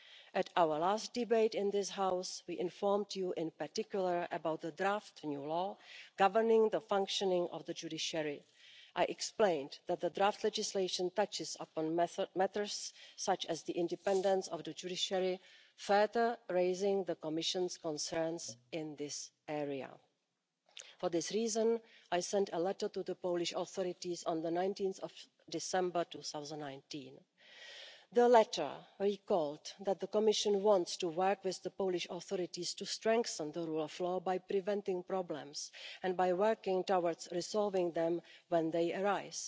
At our last debate in this House, we informed you in particular about the draft new law governing the functioning of the judiciary. I explained that the draft legislation touches upon matters such as the independence of the judiciary, further raising the Commission's concerns in this area. For this reason, I sent a letter to the Polish authorities on 19 December 2019. The letter recalled that the Commission wants to work with the Polish authorities to strengthen the rule of law by preventing problems and by working towards resolving them when they arise.